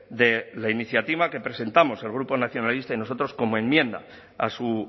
de la iniciativa que presentamos el grupo nacionalista y nosotros como enmienda a su